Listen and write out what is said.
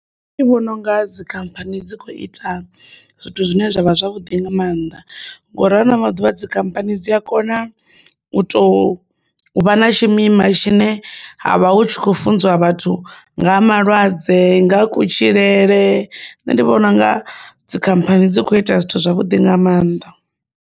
Nṋe ndi vhona unga dzikhamphani dzi kho ita zwithu zwine zwavha zwavhuḓi nga maanḓa ngauri ha ano maḓuvha dzikhamphani dzi a kona u tou vha na tshimima tshine ha vha hu tshi khou funziwa vhathu nga ha malwadze, nga ha kutshilele, nṋe ndi vhona unga dzikhamphani dzi kho ita zwithu zwavhuḓi nga maanḓa.